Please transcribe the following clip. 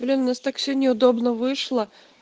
блин у нас так все неудобно вышло